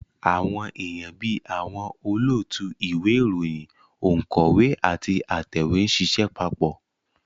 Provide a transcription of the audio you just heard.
Àwọn èèyàn bí àwọn olóòtú ìwé ìròyìn, ònkọ́wé àti atẹ̀wé ń ṣiṣẹ́ papọ̀